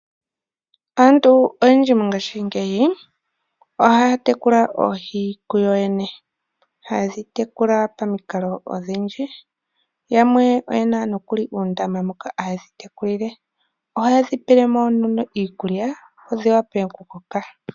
Aantu oyendji mongaashingeyi ohaa tekula oohi kuyoyene. Oha yedhi tekula pomikalo odhindji. Yamwe oye na uundama moka ha yedhi tekulile. Ohaye dhi pele mo iikulya opo dhi wape oku koka.